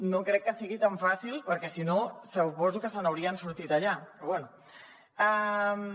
no crec que sigui tan fàcil perquè si no suposo que se n’haurien sortit allà però bé